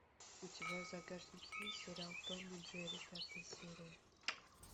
у тебя в загашнике есть сериал том и джерри пятая серия